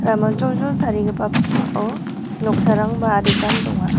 ramajoljol tarigipa pakmao noksarangba aditan donga.